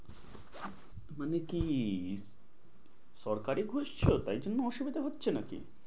মানে কি? সরকারি খুঁজছো? তাই জন্য অসুবিধা হচ্ছে নাকি?